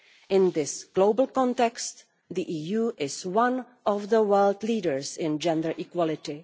In this global context, the EU is one of the world leaders in gender equality.